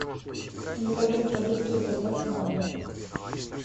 заказать продукты с доставкой на дом